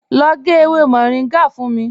Lọ gẹ̀ ewé Moringa fún mí.